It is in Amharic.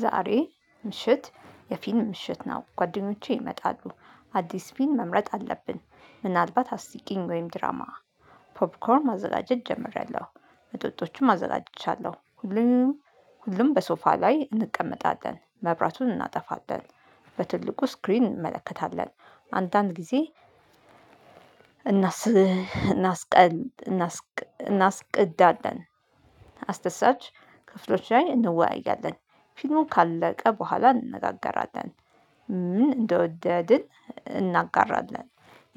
ዛሬ ምሽት የፊልም ምሽት ነው። ጓደኞቼ ይመጣሉ አዲስ ፊልም መምረጥ አለብን። ምናልባት አስቂኝ ወይም ድራማ። ፖፕኮርን ማዘጋጀት ጀምሬያለሁ መጠጦቹም አዘጋጅቻለሁ። ሁሉም ሁሉም በሶፋ ላይ እንቀመጣለን መብራቱን እናጠፋለን። በትልቁ ስክሪን እንመለከታለን። አንዳንድ ጊዜ እናስ እናስቀል እናስ እናስቀዳለን። አስደሳች ክፍሎች ላይ እንወያያለን። ፊልሙ ካለቀ በኋላ እንነጋገራለን። ምን እንደወደድን እናጋራለን።